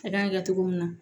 A kan ka kɛ cogo min na